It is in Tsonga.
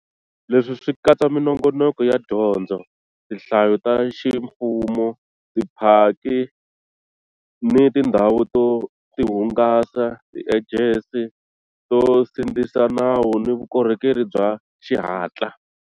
Leswi swi katsa minongonoko ya dyondzo, tinhlayo ta ximfumo, tiphaki ni tindhawu to tihungasa, tiejensi to sindzisa nawu ni vukorhokeri bya xihatla.